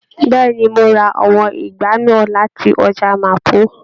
Bẹẹni, Mo ra àwọn ìgbá náà láti ọjà Mapo.